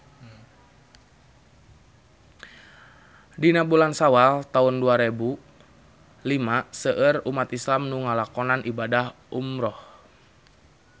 Dina bulan Sawal taun dua rebu lima seueur umat islam nu ngalakonan ibadah umrah